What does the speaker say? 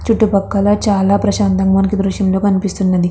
చుట్టూ పక్కల చాలా ప్రశాంతంగా మనకి ఈ దృశ్యం లో కనిపిస్తున్నది.